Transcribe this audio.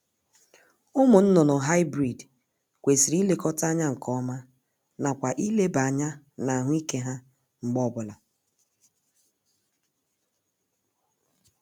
Ụmụ nnụnụ Hybrid kwesịrị ilekọta anya nkeọma nakwa ileba anya n'ahụ ike ha mgbe ọ bụla